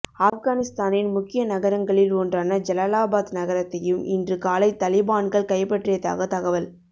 ஆப்கானிஸ்தானின் முக்கிய நகரங்களில் ஒன்றான ஜலலாபாத் நகரத்தையும் இன்று காலை தலிபான்கள் கைப்பற்றியதாக தகவல்